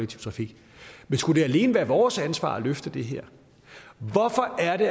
trafik men skulle det alene være vores ansvar at løfte det her hvorfor er det